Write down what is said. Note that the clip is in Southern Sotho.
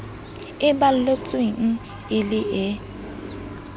e balletsweng e le e